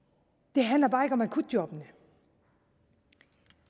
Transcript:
det handler bare ikke om akutjobbene